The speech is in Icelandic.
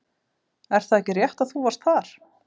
Er það ekki rétt að þú varst þar?